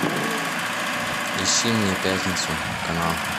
ищи мне пятницу канал